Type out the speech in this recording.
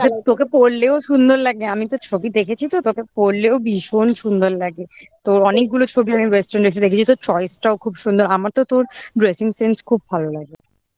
তোকে তোকে পড়লেও সুন্দর লাগে আমি তো ছবি দেখেছি তো তোকে পড়লেও ভীষণ সুন্দর লাগে তো অনেকগুলো ছবি আমি western এসে দেখেছি তো choice টাও খুব সুন্দর আমার তো তোর dressing sense খুব ভালো লাগে